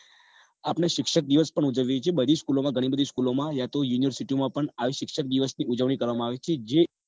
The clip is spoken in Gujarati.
આપણે શિક્ષક દિવસ પણ ઉજવીએ છીએ બધી school માં ઘણી બધી school ઓ માં યા તો university આવી શિક્ષક દિવસની ઉજવણીઓ કરવામાં આવે છે જે